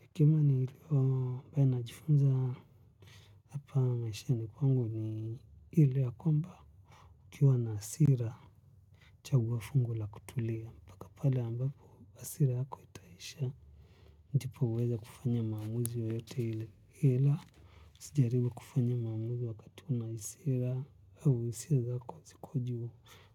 Hekima nilio pia najifunza hapa maishani kwangu ni ile ya kwamba ukiwwa na hasira chaguo fungo la kutulia mpaka pale ambapo hasira yako itaisha ndipo uweze kufanya maamuzi yoyote ile usijaribu kufanya maamuzi wakati una hasira au hisiia zako ziko juu